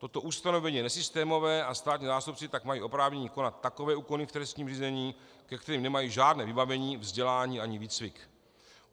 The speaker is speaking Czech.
Toto ustanovení je nesystémové a státní zástupci tak mají oprávnění konat takové úkony v trestním řízení, ke kterým nemají žádné vybavení, vzdělání ani výcvik.